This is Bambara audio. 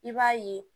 I b'a ye